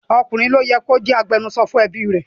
Ọkùnrin ni ó yẹ kí ó jẹ́ agbẹnusọ fún ẹbí rẹ̀.